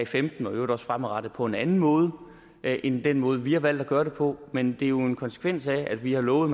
femten og i øvrigt også fremadrettet på en anden måde end end den måde vi har valgt at gøre det på men det er jo en konsekvens af at vi har lovet